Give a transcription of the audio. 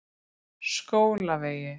Skólavegi